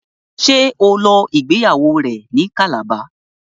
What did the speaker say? ṣe o ló ìgbéyàwó rẹ ní Calabar?